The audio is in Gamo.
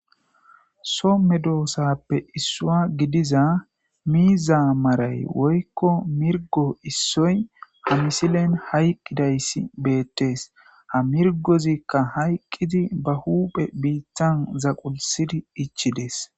somme doosappe issua gidiza miiza maray woykko mirgo issoy pomisilen hayqqidayssi beettees ha mirgozikka hayqqidi ba huuphe biittan zaqulsidi ichides